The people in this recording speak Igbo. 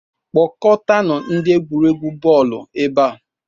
Kpọkọtanụ ndị egwuregwu bọọlụ ebe a